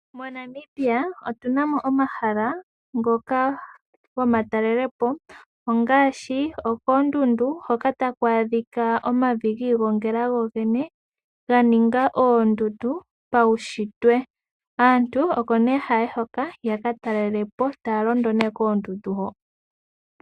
MoNamibia otuna mo omahala ngoka gomatalelepo ongaashi okoondundu hoka taku adhika omavi giigongela gogene ganinga oondundu paushitwe. Aantu oko ne haya yi hoka yaka talelapo taya londa ne koondundu hoka.